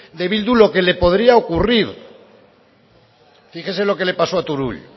de bildu lo que le podría ocurrir fíjese lo que le pasó a turull